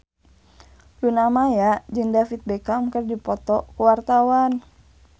Luna Maya jeung David Beckham keur dipoto ku wartawan